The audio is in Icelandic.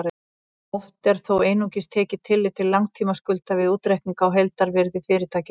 Oft er þó einungis tekið tillit til langtímaskulda við útreikning á heildarvirði fyrirtækis.